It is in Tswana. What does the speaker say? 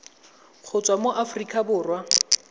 go tswa mo aforika borwa